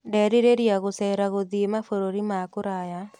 Ndĩrerirĩria gũcera gũthiĩ mabũrũri ma kũraya.